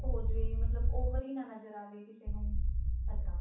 ਹੋ ਜਵੇ ਮਤਲਬ over ਈ ਨਾ ਨਜਰ ਆਵੇ ਕਿਸੇ ਨੂੰ ਇੱਦਾਂ